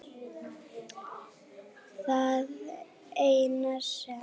Það eina sem